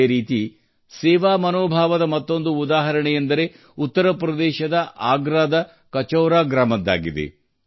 ಅದೇ ರೀತಿ ಸೇವಾಮನೋಭಾವದ ಮತ್ತೊಂದು ಉದಾಹರಣೆಯೆಂದರೆ ಉತ್ತರ ಪ್ರದೇಶದ ಆಗ್ರಾದ ಕಚೌರಾ ಗ್ರಾಮದ್ದಾಗಿದೆ